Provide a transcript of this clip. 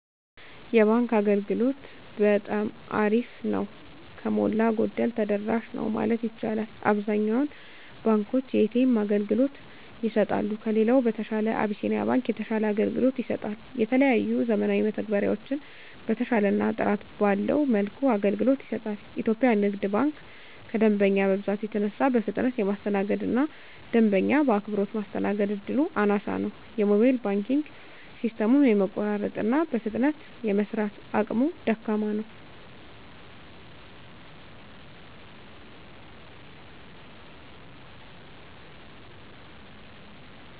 የባንክ አገልግሎት በጠማ አሪፍ ነው። ከሞላ ጎደል ተደራሽ ነው ማለት ይቻላል። አብዛኛውን ባንኮች የኤ.ተ.ኤም አገልግሎት ይሰጣሉ። ከሌላው በተሻለ አብሲኒያ ባንክ የተሻለ አገልግሎት ይሰጣል። የተለያዩ ዘመናዊ መተግበሪያዎችን በተሻለና ጥራት ባለው መልኩ አገልግሎት ይሰጣል። ኢትዮጵያ ንግድ ባንክ ከደንበኛ መብዛት የተነሳ በፍጥነት የማስተናገድ እና ደንበኛ በአክብሮት ማስተናገድ እድሉ አናሳ ነው። የሞባይል ባንኪንግ ሲስተሙም የመቆራረጥ እና በፍጥነት የመስራት አቅሙ ደካማ ነው።